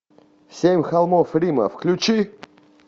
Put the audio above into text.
семь холмов рима включи